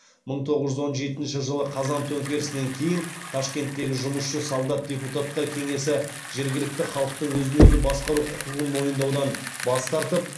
мың тоғыз жүз он жетінші жылы қазан төңкерісінен кейін ташкенттегі жұмысшы солдат депутаттар кеңесі жергілікті халықтың өзін өзі басқару құқығын мойындаудан бас тартып